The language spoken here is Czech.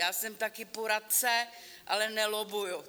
Já jsem taky poradce, ale nelobbuji.